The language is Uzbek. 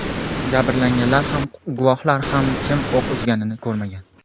Jabrlanganlar ham, guvohlar ham kim o‘q uzganini ko‘rmagan.